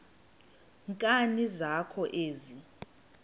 nkani zakho ezi